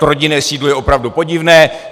To rodinné sídlo je opravdu podivné.